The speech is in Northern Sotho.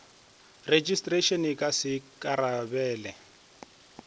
rejistrara a ka se ikarabele